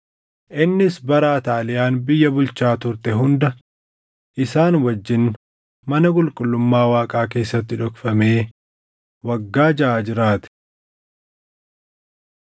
Innis bara Ataaliyaan biyya bulchaa turte hunda isaan wajjin mana qulqullummaa Waaqaa keessatti dhokfamee waggaa jaʼa jiraate.